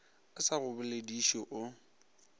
a sa go bolediše o